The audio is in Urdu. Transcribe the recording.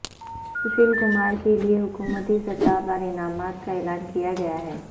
سوشیل کمار کے لیے حکومتی سطح پر انعامات کا اعلان کیاگیاہے